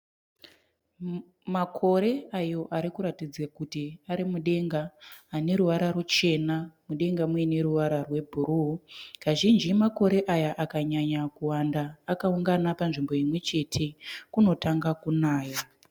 Makore ayo arikuratidza kuti ari mudenga ane ruvara ruchena mudenga muine ruvara rwe bhuruu. Kazhinji makore aya akanyanya kuwanda akaungana panzvimbo imwechete kunotanga kunaya.